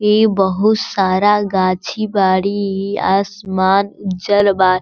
इ बहुत सारा गाछी बाड़ी इ आसमान उज्जर बा --